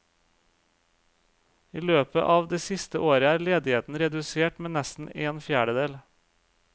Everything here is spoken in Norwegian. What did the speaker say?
I løpet av det siste året er ledigheten redusert med nesten en fjerdedel.